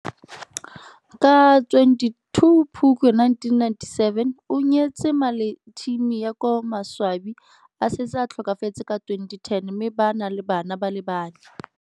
Ka 22 Phukwi 1997 o nyetse Maleteam yo ka maswabi a setse a tlhokafetse ka 2010 mme ba na le bana ba le banne.